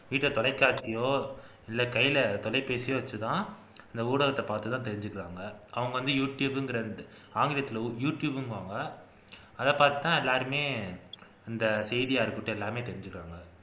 வீட்ல தொலைக்காட்சியோ இல்லை கைல தொலைபேசியோ வச்சுதான் இந்த ஊடகத்த பாத்துதான் தெரிஞ்சுக்குறாங்க அவங்க வந்து யூ டுயூப்ங்குற ஆங்கிலத்துல யூ டுயூப்பாங்க அதைப்பாத்துதான் எல்லாருமே இந்த செய்தியா இருக்கட்டும் எல்லாமே தெரிஞ்சுக்கிறாங்க